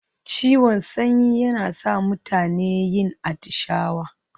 Ciwon sanyi yana sa mutane yin atishawa.